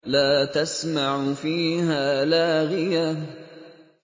لَّا تَسْمَعُ فِيهَا لَاغِيَةً